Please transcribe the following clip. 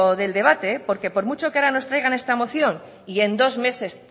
del debate porque por mucho que ahora nos traigan esta moción y en dos meses